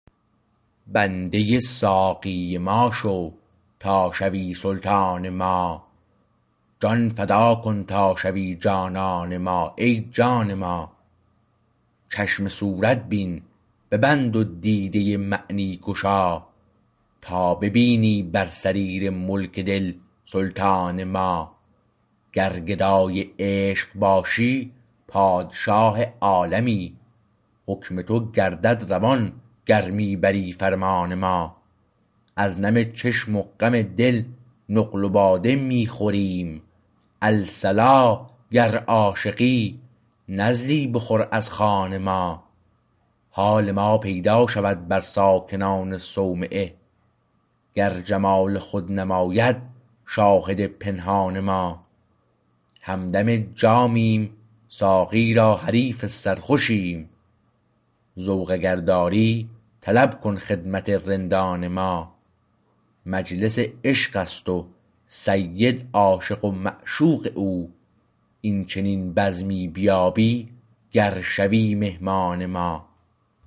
بنده ساقی ما شو تا شوی سلطان ما جان فدا کن تا شوی جانان ما ای جان ما چشم صورت بین ببند و دیده معنی گشا تا ببینی بر سریر ملک دل سلطان ما گر گدای عشق باشی پادشاه عالمی حکم تو گردد روان گر می بری فرمان ما از نم چشم و غم دل نقل و باده می خوریم الصلا گر عاشقی نزلی بخور از خوان ما حال ما پیدا شود بر ساکنان صومعه گر جمال خود نماید شاهد پنهان ما همدم جامیم ساقی را حریف سرخوشیم ذوق اگر داری طلب کن خدمت رندان ما مجلس عشقست و سید عاشق و معشوق او این چنین بزمی بیابی گر شوی مهمان ما